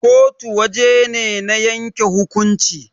kotu waje ne na yanke hukumnci